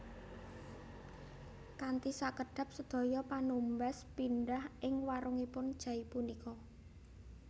Kanthi sakedhap sedaya panumbas pindhah ing warungipun Jay punika